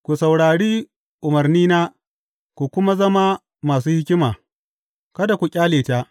Ku saurari umarnina ku kuma zama masu hikima; kada ku ƙyale ta.